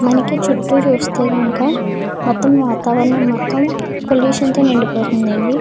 మనకి చుట్టూ చూస్తే గనక మొత్తం వాతావరణం మొత్తం పొల్యూషన్ తో నిండిపోతుందండి.